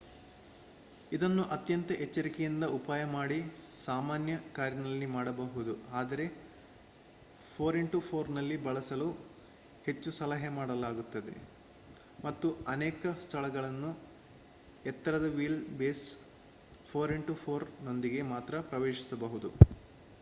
ಇದನ್ನು ಅತ್ಯಂತ ಎಚ್ಚರಿಕೆಯಿಂದ ಉಪಾಯ ಮಾಡಿ ಸಾಮಾನ್ಯ ಕಾರಿನಲ್ಲಿ ಮಾಡಬಹುದು ಆದರೆ 4x4 ನಲ್ಲಿ ಬಳಸಲು ಹೆಚ್ಚು ಸಲಹೆ ಮಾಡಲಾಗುತ್ತದೆ ಮತ್ತು ಅನೇಕ ಸ್ಥಳಗಳನ್ನು ಎತ್ತರದ ವೀಲ್ ಬೇಸ್ 4x4 ನೊಂದಿಗೆ ಮಾತ್ರ ಪ್ರವೇಶಿಸಬಹುದು